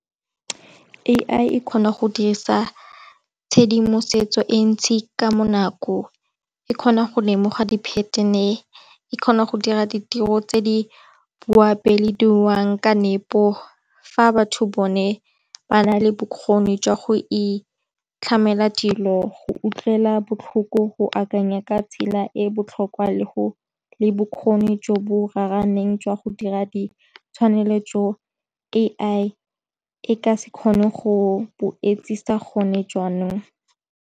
A_I e kgona go dirisa tshedimosetso e ntsi ka mo nako e kgona go lemoga di pattern-e, e kgona go dira ditiro tse di boapeelong ka nepo, fa batho bone ba na le bokgoni jwa go itlhamela dilo go utlwela botlhoko go akanya ka tsela e botlhokwa le go le bokgoni jo bo raraneng jwa go dira di tshwanelo jo A_I e ka se kgone go bo etsisa gone jaanong.